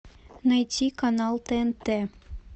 найти канал тнт